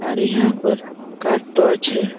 আর ইহা পর কার টো আছে।